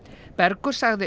Bergur sagði